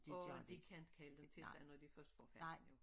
Og de kan ikke kalde dem til sig når de først for færten jo